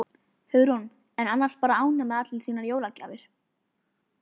Hugrún: En annars bara ánægð með allar þínar jólagjafir?